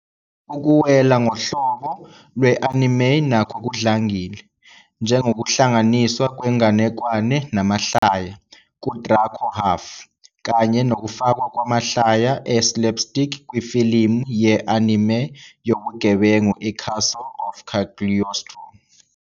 Ukuwela ngohlobo lwe-anime nakho kudlangile, njengokuhlanganiswa kwenganekwane namahlaya "kuDrako Half", kanye nokufakwa kwamahlaya e-slapstick kwifilimu ye-anime yobugebengu iCastle "of Cagliostro".